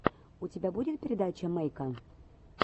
у тебя будет передача мэйка